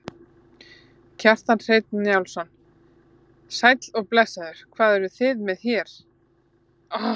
Kjartan Hreinn Njálsson: Sæll og blessaður, hvað eruð þið með hérna?